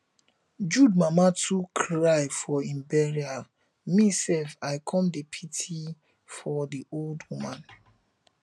jude mama too cry for im bural me sef i come dey pity for the old woman